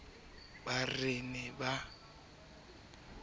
ba re e ne e